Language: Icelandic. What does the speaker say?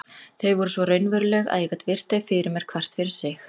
Þau voru svo raunveruleg að ég gat virt þau fyrir mér hvert fyrir sig.